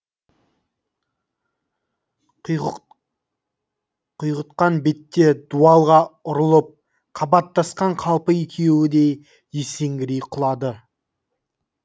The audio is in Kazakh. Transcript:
құйғытқан бетте дуалға ұрылып қабаттасқан қалпы екеуі де есеңгірей құлады